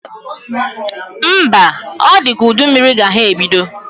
Mba, ọ dị ka udu mmiri ga ha ebido